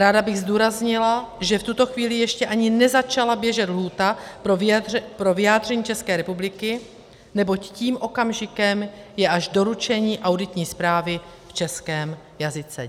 Ráda bych zdůraznila, že v tuto chvíli ještě ani nezačala běžet lhůta pro vyjádření České republiky, neboť tím okamžikem je až doručení auditní zprávy v českém jazyce.